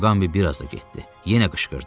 Muqambi biraz da getdi, yenə qışqırdı.